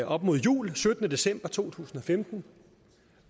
op mod jul den syttende december to tusind og femten